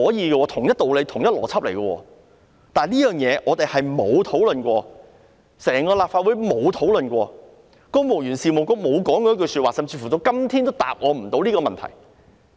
這是同一道理、同一邏輯，但這事從來沒有討論過，整個立法會從未討論過，公務員事務局沒有說過一句話，甚至到今天都無法回答我這個問題。